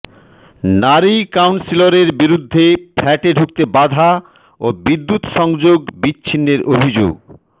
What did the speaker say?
নারী কাউন্সিলরের বিরুদ্ধে ফ্ল্যাটে ঢুকতে বাধা ও বিদ্যুৎ সংযোগ বিচ্ছিন্নের অভিযোগ